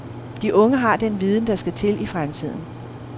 De unge har den viden, der skal til i fremtiden.